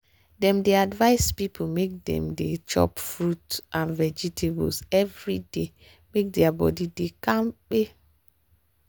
dem dey advice people make dem dey chop fruit and vegetables every day make their body dey kampe.